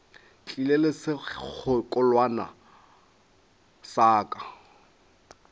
tlile le sekgekolwana sa ka